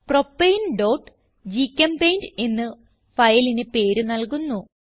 propaneഗ്ചെമ്പെയിന്റ് എന്ന് ഫയലിന് പേര് നൽകുന്നു